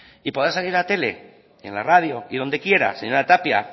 y podrá salir en la tele en la radio y donde quiera señora tapia